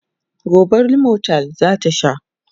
gobe limotyl zan Bata